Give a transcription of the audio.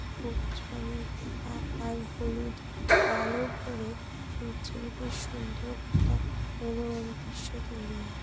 সবুজ রঙের পাতা আর হলুদ আলো পরে সূর্যের বেশ সুন্দর একটা মনোরম দৃশ্য তৈরি হয়ে--